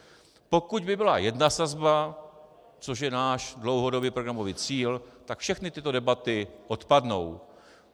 Pokud by byla jedna sazba, což je náš dlouhodobý programový cíl, tak všechny tyto debaty odpadnou.